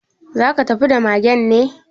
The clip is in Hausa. Za ka tafi da magen ne?